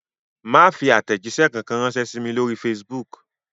Má fi àtẹ̀jíṣẹ́ kankan ránṣẹ́ sí mi lórí Facebook